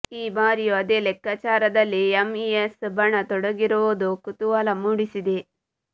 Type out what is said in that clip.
ಈ ಬಾರಿಯೂ ಅದೇ ಲೆಕ್ಕಾಚಾರದಲ್ಲಿ ಎಂಇಎಸ್ ಬಣ ತೊಡಗಿರುವುದು ಕುತೂಹಲ ಮೂಡಿಸಿದೆ